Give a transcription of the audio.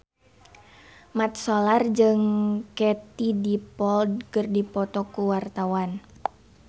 Mat Solar jeung Katie Dippold keur dipoto ku wartawan